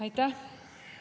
Aitäh!